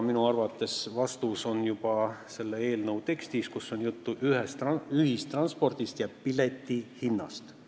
Minu arvates on vastus juba selle eelnõu tekstis, kus on juttu ühistranspordist ja piletihinnast.